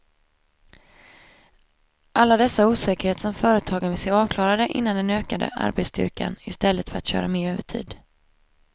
Alla dessa osäkerheter som företagen vill se avklarade innan de ökar arbetsstyrkan i stället för att köra mer övertid.